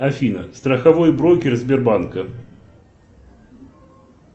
афина страховой брокер сбербанка